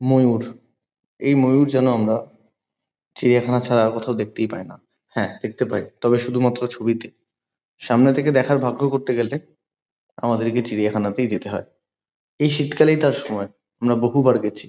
ময়ূর এই ময়ূর যেন আমরা চিড়িয়াখানা ছাড়া আর কোথাও দেখতেই পাই না। হ্যাঁ দেখতে পাই তবে শুধুমাত্র ছবিতে। সামনে থেকে দেখার ভাগ্য করতে গেলে আমাদেরকে চিড়িয়াখানাতেই যেতে হয়। এই শীতকালেই তার সময় আমরা বহুবার গেছি।